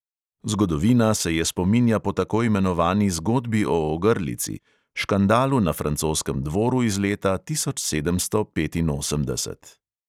Zgodovina se je spominja po tako imenovani zgodbi o ogrlici – škandalu na francoskem dvoru iz leta tisoč sedemsto petinosemdeset.